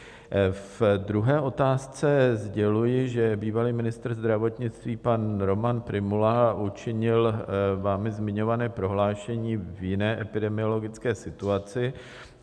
Ve druhé otázce sděluji, že bývalý ministr zdravotnictví pan Roman Prymula učinil vámi zmiňované prohlášení v jiné epidemiologické situaci.